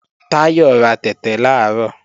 Táyọ̀ ra tẹ̀tẹ̀ làárọ̀